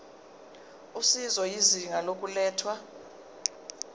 usizo izinga lokulethwa